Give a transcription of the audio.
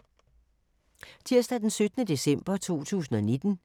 Tirsdag d. 17. december 2019